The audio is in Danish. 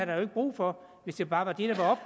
være brug for hvis det bare var det